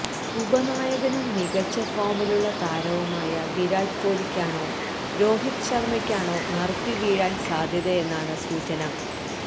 ഉപനായകനുംമികച്ച ഫോമിലുള്ള താരവുമായ വിരാട് കൊഹ്ലിക്കാണോ രോഹിത് ശര്മ്മക്കാണോ നറുക്ക് വീഴാന് സാദ്ധ്യതയെന്നാണ് സൂചന